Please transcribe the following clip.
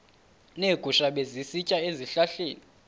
neegusha ebezisitya ezihlahleni